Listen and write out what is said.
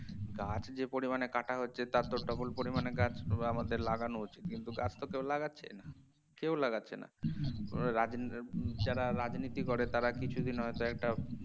গাছ যে পরিমানে কাটা হচ্ছে তার তো double পরিমাণে গাছ আমাদের লাগানো উচিত কিন্তু গাছ তো কেউ লাগাচ্ছে না কেউ লাগাচ্ছে না রাজ্ আহ যারা রাজনীতি যারা করে তারা কিছুদিন হয়তো একটা